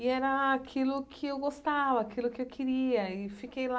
E era aquilo que eu gostava, aquilo que eu queria e fiquei lá